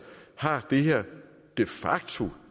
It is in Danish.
har det her de facto